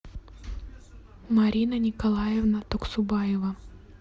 марина николаевна туксубаева